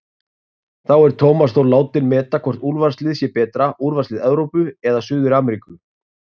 Þá er Tómas Þór látinn meta hvort úrvalsliðið sé betra, úrvalslið Evrópu eða Suður-Ameríku?